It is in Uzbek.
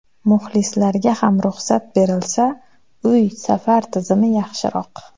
Muxlislarga ham ruxsat berilsa, uy-safar tizimi yaxshiroq.